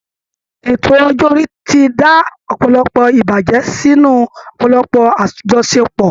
Ètò ọjọ́ orí ti dá ọ̀pọ̀lọpọ̀ ìbàjẹ́ sínú ọ̀pọ̀lọpọ̀ àjọṣepọ̀